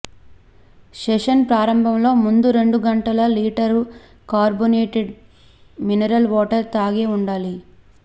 session ప్రారంభంలో ముందు రెండు గంటల లీటరు కార్బోనేటేడ్ మినరల్ వాటర్ తాగే ఉండాలి